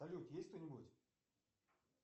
салют есть кто нибудь